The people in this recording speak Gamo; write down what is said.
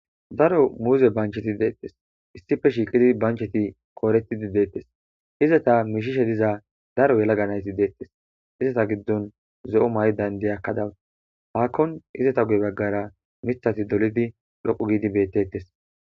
Daro muuza banchchethi deeththes; isthippe shiiqidi banchchethi kooreththidi deeththes; izatha mishishe diza daro yelaga na7ithi deeththes; izatha giddon zo7o mayida inddiyakka dawus; darkkon izetha guye baggara miththathi dolidi dhoqqu giidi beetheeththes.